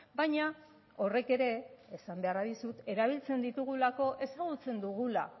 baina horrek ere esan beharra dizut erabiltzen ditugulako ezagutzen dugula